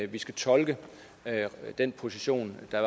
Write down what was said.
vi skal tolke den position der